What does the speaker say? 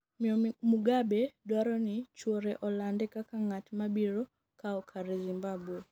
miyo Mugabe dwaro ni chuore olande kaka ng'at ma biro kawo kare Zimbabwe